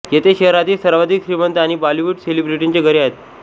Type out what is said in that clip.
येथे शहरातील सर्वाधिक श्रीमंत आणि बॉलिवूड सेलिब्रिटींची घरे आहेत